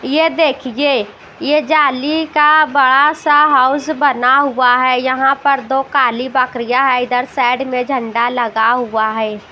ये देखिए ये जाली का बड़ा सा हाउस बना हुआ है यहां पर दो काली बकरियां है इधर साइड में झंडा लगा हुआ है ।